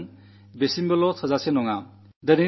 ശുചിത്വം സ്വഭാവമാകുന്നതും പോരാ